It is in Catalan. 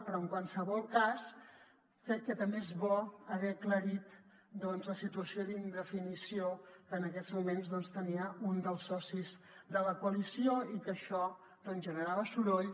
però en qualsevol cas crec que també és bo haver aclarit la situació d’indefinició que en aquests moments tenia un dels socis de la coalició i que això generava soroll